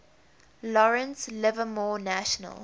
lawrence livermore national